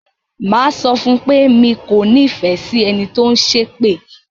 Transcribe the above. Mà á sọ fún un pé mi kò nífẹ̀ẹ́ sí ẹni tó ń ṣépè.